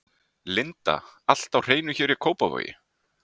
Linda: Allt á hreinu hér í Kópavogi?